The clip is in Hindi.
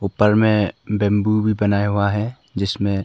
ऊपर में बंबू भी बनाया हुआ है जिसमें--